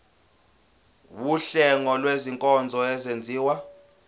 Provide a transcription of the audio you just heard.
wuhlengo lwezinkonzo ezenziwa